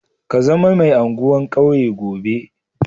Ka zama mai anguwan kauye gobe.